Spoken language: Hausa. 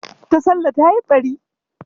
Tasallah ta yi ɓari.